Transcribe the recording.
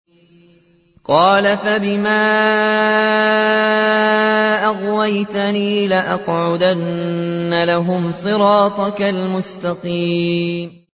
قَالَ فَبِمَا أَغْوَيْتَنِي لَأَقْعُدَنَّ لَهُمْ صِرَاطَكَ الْمُسْتَقِيمَ